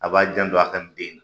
A b'a jando a ka nin den na.